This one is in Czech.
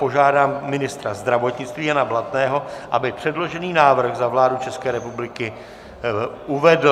Požádám ministra zdravotnictví Jana Blatného, aby předložený návrh za vládu České republiky uvedl.